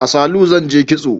A salu zan je kitso